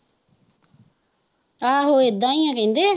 ਆਹੋ ਏਦਾਂ ਹੀ ਆ ਕਹਿੰਦੇ ਹੈ